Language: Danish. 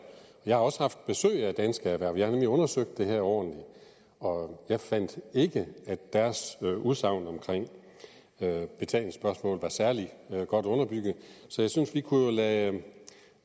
jeg har også haft besøg af dansk erhverv jeg har nemlig undersøgt det her ordentligt og jeg fandt ikke at deres udsagn om betalingsspørgsmålet var særlig godt underbygget så jeg synes vi kunne lade dem